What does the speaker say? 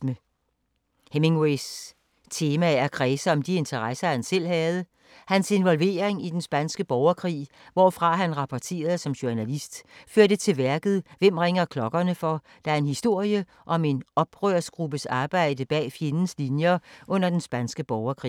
Hemingways temaer kredser om de interesser, han selv havde. Hans involvering i den spanske borgerkrig, hvorfra han rapporterede som journalist, førte til værket Hvem ringer klokkerne for, der er en historie om en oprørsgruppes arbejde bag fjendens linjer under den spanske borgerkrig.